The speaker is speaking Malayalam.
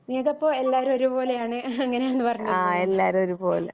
നീയിപ്പോ എല്ലാരും ഒരുപോലെയാണ് ഇങ്ങനാണ് പറഞ്ഞില്ലേ